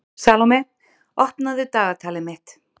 Salome, opnaðu dagatalið mitt.